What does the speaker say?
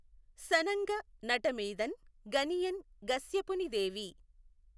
సనఁగ నటమీదఁ గనియెఁ గశ్యపునిదేవి